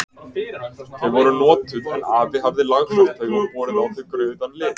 Þau voru notuð en afi hafði lagfært þau og borið á þau rauðan lit.